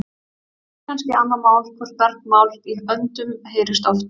Hitt er kannski annað mál hvort bergmál í öndum heyrist oft.